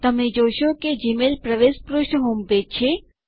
તમને જોશો કે જીમેઇલ પ્રવેશ પૃષ્ઠ હોમપેજ છે